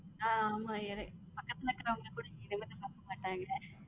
ஹம் ஆமா பக்கத்துல இருகுறன்வங்க குட நிமிந்து பக்க மாட்டாங்க